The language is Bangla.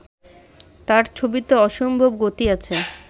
তাঁর ছবিতে অসম্ভব গতি আছে